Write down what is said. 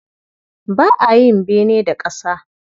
Ba a yin bene da ƙasa.